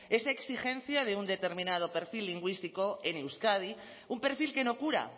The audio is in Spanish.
esa exigencia de un determinado perfil lingüístico en euskadi un perfil que no cura